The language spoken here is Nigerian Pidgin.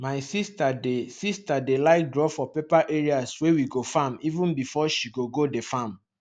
my sister dey sister dey like draw for paper areas wey we go farm even before she gogo the farm